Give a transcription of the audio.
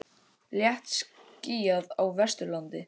Léttskýjað á Vesturlandi